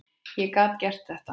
Ég gat gert þetta.